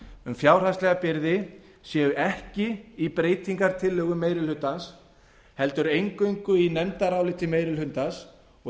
um fjárhagslega byrði séu ekki í breytingartillögum meiri hlutans heldur eingöngu í nefndaráliti meiri hlutans og